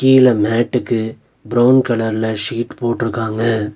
கீழ மேட்டுக்கு பிரவுன் கலர்ல ஷீட் போட்ருக்காங்க.